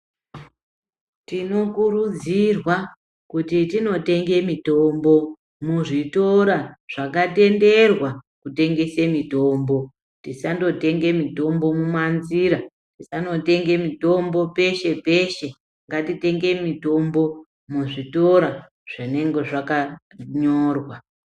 Tinokurudzirwa kuti tinotenge mitombo muzvitoro zvakatenderwa kutengesa mitombo tisandotenga mitombo mumanzira tisandotenga mitombo peshe-peshe ngatitenge mitombo muzvitoro zvinenge zvakanyorwa.